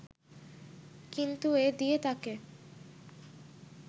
কিন্তু এ দিয়ে তাঁকে